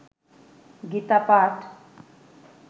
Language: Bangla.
গীতা পাঠ